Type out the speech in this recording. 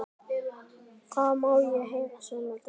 Það má heyra saumnál detta.